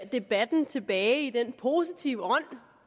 debatten tilbage i den positive